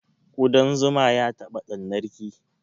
Ƙuɗan zuma ya taɓa ɗannar ki?